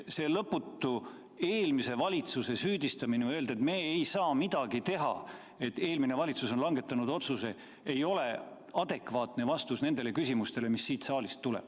See lõputu eelmise valitsuse süüdistamine, et me ei saa midagi teha, et eelmine valitsus on langetanud otsuse, ei ole adekvaatne vastus nendele küsimustele, mis siit saalist tulevad.